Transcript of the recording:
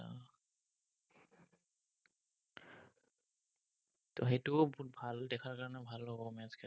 সেইটোও বহুত ভাল, দেখাৰ কাৰণে ভাল হ'ব match কেইটা।